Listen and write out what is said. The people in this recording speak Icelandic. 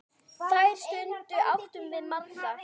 Þær stundir áttum við margar.